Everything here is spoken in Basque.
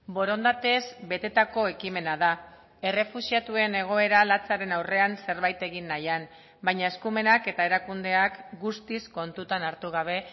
borondatez betetako ekimena da errefuxiatuen egoera latzaren aurrean zerbait egin nahian baina eskumenak eta erakundeak guztiz kontutan hartu gabe